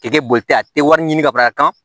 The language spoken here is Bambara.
K'e tɛ boli ten a tɛ wari ɲini ka fara a kan